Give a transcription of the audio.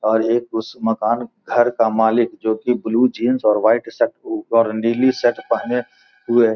और एक उस मकान घर का मालिक जो की ब्लू जीन्स और व्हाइट शर्ट ऊपर नीली शर्ट पहने हुए --